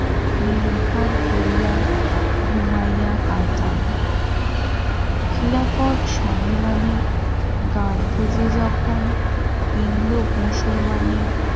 নির্ভর করিয়া ঘুমাইয়া কাটান ছেড়াপথ সম্মেলনে গান্ধী যে যখন হিন্দু মুসলমানের